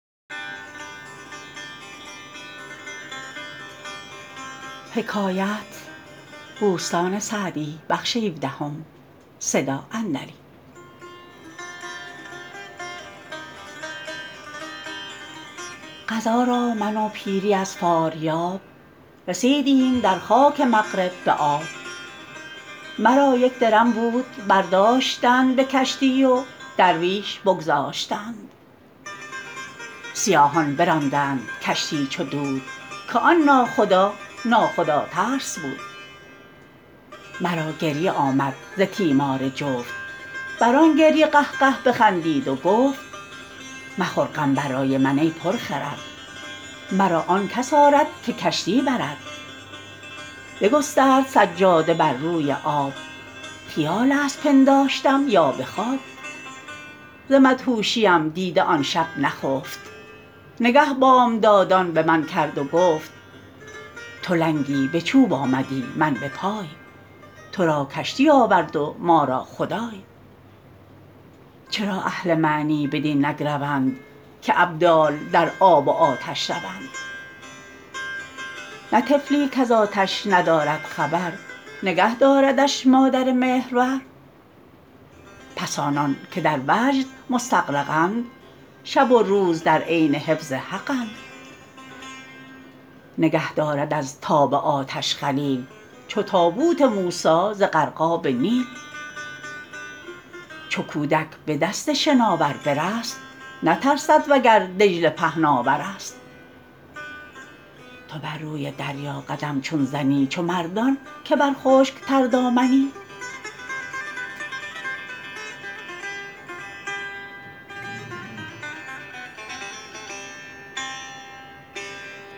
قضا را من و پیری از فاریاب رسیدیم در خاک مغرب به آب مرا یک درم بود برداشتند به کشتی و درویش بگذاشتند سیاهان براندند کشتی چو دود که آن ناخدا نا خدا ترس بود مرا گریه آمد ز تیمار جفت بر آن گریه قهقه بخندید و گفت مخور غم برای من ای پر خرد مرا آن کس آرد که کشتی برد بگسترد سجاده بر روی آب خیال است پنداشتم یا به خواب ز مدهوشیم دیده آن شب نخفت نگه بامدادان به من کرد و گفت تو لنگی به چوب آمدی من به پای تو را کشتی آورد و ما را خدای چرا اهل معنی بدین نگروند که ابدال در آب و آتش روند نه طفلی کز آتش ندارد خبر نگه داردش مادر مهرور پس آنان که در وجد مستغرقند شب و روز در عین حفظ حقند نگه دارد از تاب آتش خلیل چو تابوت موسی ز غرقاب نیل چو کودک به دست شناور برست نترسد وگر دجله پهناورست تو بر روی دریا قدم چون زنی چو مردان که بر خشک تردامنی